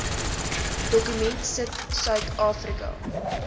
dokument sit suidafrika